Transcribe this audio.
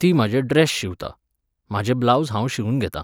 ती म्हाजे ड्रॅस शिंवता, म्हाजे ब्लावज हांव शिंवन घेतां.